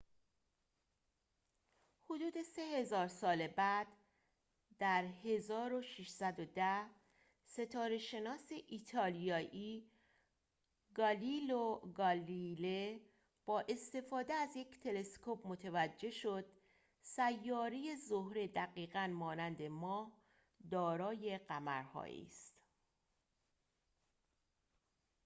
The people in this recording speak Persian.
حدود سه هزار سال بعد در ۱۶۱۰ ستاره‌شناس ایتالیایی گالیلئو گالیله با استفاده از یک تلسکوپ متوجه شد سیاره زهره دقیقاً مانند ماه دارای قمرهایی است